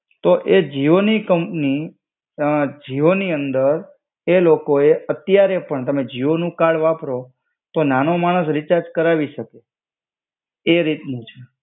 તો એ જીઓની કંપની, અ જીઓ ની અંદર એ લોકોએ અત્યારે પણ તમે જીઓનું કાર્ડ વાપરો, તો નાનો માણસ રિચાર્જ કરાવી શકે. એ રીતનું છે.